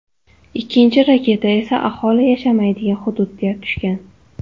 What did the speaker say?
Ikkinchi raketa esa aholi yashamaydigan hududga tushgan.